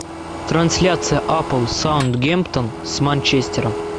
трансляция апл саутгемптон с манчестером